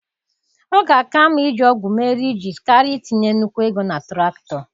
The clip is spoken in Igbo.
Ọ ga-aka mma iji ọgụ mee rịjizi karịa itinye nnukwu ego na traktọ.